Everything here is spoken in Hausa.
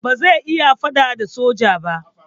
Ba zai iya faɗa da soja ba.